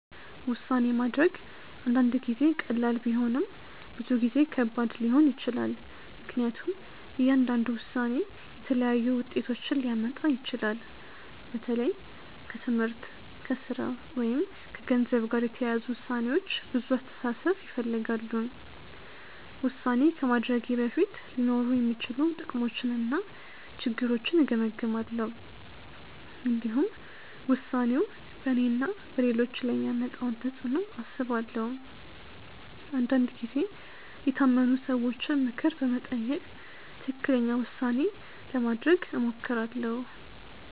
ውሳኔ ማድረግ አንዳንድ ጊዜ ቀላል ቢሆንም ብዙ ጊዜ ከባድ ሊሆን ይችላል። ምክንያቱም እያንዳንዱ ውሳኔ የተለያዩ ውጤቶችን ሊያመጣ ይችላል። በተለይ ከትምህርት፣ ከሥራ ወይም ከገንዘብ ጋር የተያያዙ ውሳኔዎች ብዙ አስተሳሰብ ይፈልጋሉ። ውሳኔ ከማድረጌ በፊት ሊኖሩ የሚችሉ ጥቅሞችንና ችግሮችን እገመግማለሁ። እንዲሁም ውሳኔው በእኔና በሌሎች ላይ የሚያመጣውን ተፅዕኖ አስባለሁ። አንዳንድ ጊዜ የታመኑ ሰዎችን ምክር በመጠየቅ ትክክለኛ ውሳኔ ለማድረግ እሞክራለሁ.